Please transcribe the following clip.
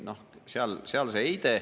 Seal see heide …